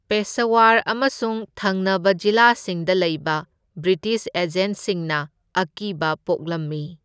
ꯄꯦꯁꯥꯋꯔ ꯑꯃꯁꯨꯡ ꯊꯪꯅꯕ ꯖꯤꯂꯥꯁꯤꯡꯗ ꯂꯩꯕ ꯕ꯭ꯔꯤꯇꯤꯁ ꯑꯦꯖꯦꯟꯠꯁꯤꯡꯅ ꯑꯀꯤꯕ ꯄꯣꯛꯂꯝꯃꯤ꯫